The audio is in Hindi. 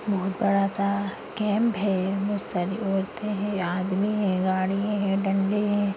यह बड़ा सा कैम्प है बहुत सारी औरते है आदमी है गाड़ियाँ है डंडे है।